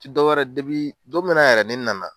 Dɔw wɛrɛ, dɔ minna yɛrɛ ne nana.